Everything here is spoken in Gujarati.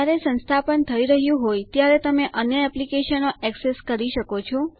જયારે સંસ્થાપન થઇ રહ્યું હોય ત્યારે તમે અન્ય એપ્લીકેશનો ઍક્સેસ કરી શકો છો